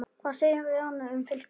Hvað segir Jörundur um Fylki?